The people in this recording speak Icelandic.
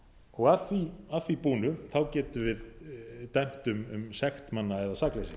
og að því búnu getum við dæmt um sekt manna eða sakleysi